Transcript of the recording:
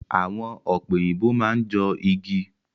Awọn ọ̀pẹ òyìnbó máa n jọ igi.